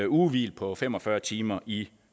ugehvil på fem og fyrre timer i